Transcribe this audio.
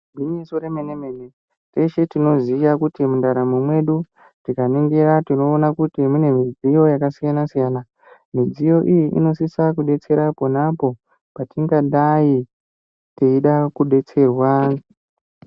Gwinyiso remene -mene teshe tinoziya kuti mundaramo mwedu tikaningira tinoona kuti mune midziyo yakasiyana -siyana. Midziyo iyi inosisa kudetsera pona apo patingadai teida kudetserwa.